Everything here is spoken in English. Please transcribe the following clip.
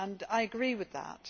I agree with that.